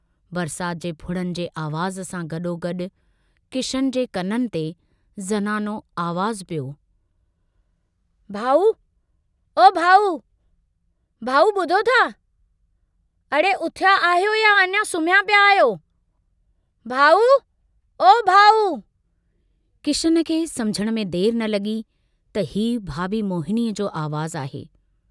बरसात जे फुड़नि जे आवाज़ सां गडोगडु किशन जे कननि ते ज़नानो आवाजु पियो भाउ ओ भाउ भाउ बुधो था, अड़े उथिया आहियो या अञा सुम्हिया पिया आहियो... भाउ ओ भाउ... किशन खे समुझण में देर न लगी त हीउ भाभी मोहिनीअ जो आवाज़ु आहे।